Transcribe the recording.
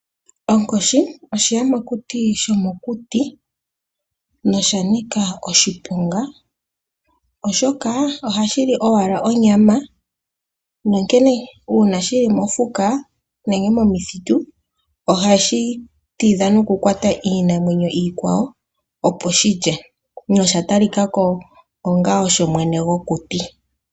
Onkoshi oshiyamakuti shomokuti noshanika oshiponga, oshoka ohashi li owala onyama nonkene uuna shili mofuka nenge momithitu ohashi tidha nokukwata iinamwenyo iikwawo opo shi lye nosha talika ko onga osho mwene gokuti.